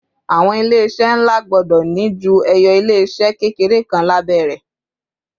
àwọn ilé iṣẹ nla gbọdọ ni ju eyo ilé se kékeré kan labẹ rè